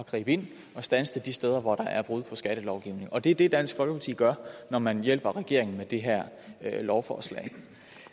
gribe ind og standse det de steder hvor der er brud på skattelovgivningen og det er det dansk folkeparti gør når man hjælper regeringen med det her lovforslag